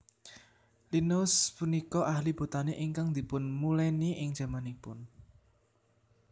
Linnaeus punika ahli botani ingkang dipunmulèni ing jamanipun